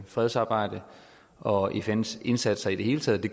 fredsarbejde og fns indsats i det hele taget det